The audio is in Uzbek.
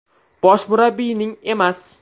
Bosh murabbiyning emas!